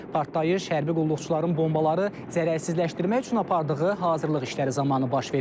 Partlayış hərbi qulluqçuların bombaları zərərsizləşdirmək üçün apardığı hazırlıq işləri zamanı baş verib.